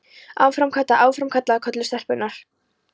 Áfram Kata, áfram Kata! kölluðu stelpurnar.